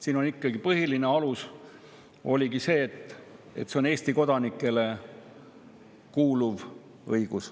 Siin ikkagi põhiline alus oli see, et see on Eesti kodanikele kuuluv õigus.